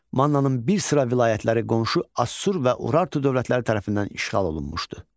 Mannanın bir sıra vilayətləri qonşu Assur və Urartu dövlətləri tərəfindən işğal olunmuşdu.